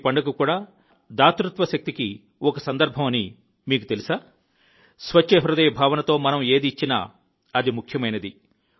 తృతీయ పండుగ కూడా దాతృత్వ శక్తికి ఒక సందర్భం అని మీకు తెలుసా స్వచ్ఛ హృదయ భావనతో మనం ఏది ఇచ్చినా అది ముఖ్యమైనది